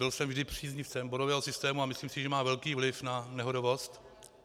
Byl jsem vždy příznivcem bodového systému a myslím si, že má velký vliv na nehodovost.